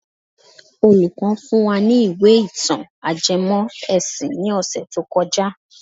Olùkọ́ fún wa ní ìwé ìtàn ajẹmọ́ ẹ̀sìn ní ọ̀sẹ̀ tó kọjá.